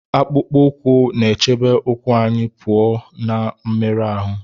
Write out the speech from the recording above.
Akpụkpọ ụkwụ na-echebe ụkwụ anyị pụọ na mmerụ ahụ